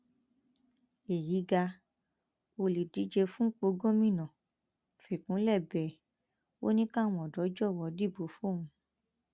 èyí ga olùdíje fúnpọ gómìnà fikúnlẹ bẹ ẹ ò ní káwọn ọdọ jọwọ dìbò fóun